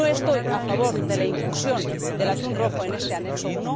No estoy a favor de la inclusión del atún rojo en este Apéndice I